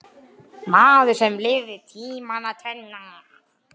Maður sem lifði tímana tvenna.